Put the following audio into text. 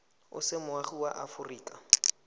o se moagi wa aforika